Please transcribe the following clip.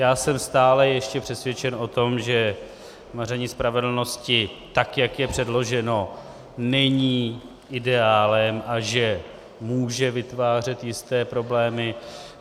Já jsem stále ještě přesvědčen o tom, že maření spravedlnosti, tak jak je předloženo, není ideálem a že může vytvářet jisté problémy.